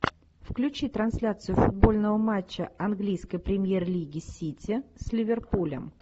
включи трансляцию футбольного матча английской премьер лиги сити с ливерпулем